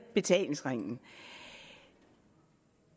betalingsringen